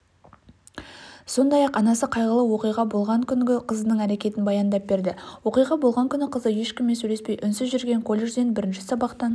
сондай-ақ анасы қайғылы оқиға болған күнгі қызының әрекетін баяндап берді оқиға болған күні қызы ешкіммен сөйлеспей үнсіз жүрген колледжден бірінші сабақтан